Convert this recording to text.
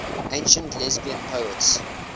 ancient lesbian poets